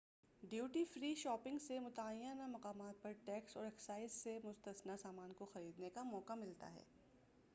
duty free shopping سے متعینہ مقامات پر ٹیکس اور اکسائز سے مستثنی سامان کوخریدنے کا موقع ملتا ہے